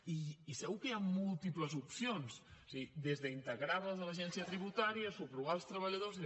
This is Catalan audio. i segur que hi han múltiples opcions és a dir des d’integrar les a l’agència tributària subrogar els treballadors